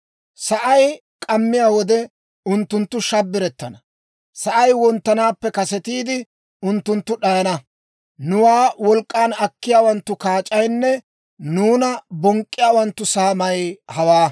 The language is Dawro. Sa'ay k'ammiyaa wode, unttunttu shabbirettana; sa'ay wonttanaappe kasetiide, unttunttu d'ayana; nuwaa wolk'k'an akkiyaawanttu kaac'aynne nuuna bonk'k'iyaawanttu saamay hawaa.